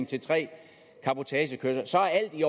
til tre cabotagekørsler så er alt i